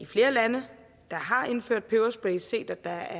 flere lande der har indført peberspray set at der